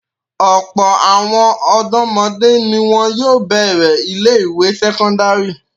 Ọ̀pọ̀ àwọn ọ̀dọ́mọdé ni wọn yóò bẹ̀rẹ̀ ilé-ìwé sẹ́kọ́ndárì.